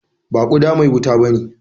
Ba guda mai wuta bane.